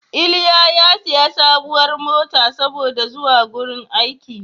Iliya ya sayi sabuwar mota saboda zuwa wrin aiki.